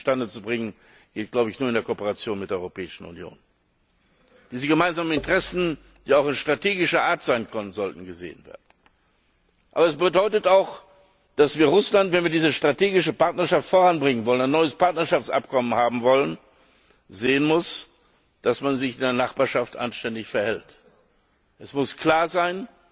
Und dies zustande zu bringen, geht, glaube ich, nur in der Kooperation mit der Europäischen Union. Diese gemeinsamen Interessen, die auch strategischer Art sein können, sollten gesehen werden. Aber das bedeutet auch, dass Russland wenn wir diese strategische Partnerschaft voranbringen wollen, ein neues Partnerschaftsabkommen haben wollen sehen muss, dass man sich in der Nachbarschaft anständig verhält. Es muss klar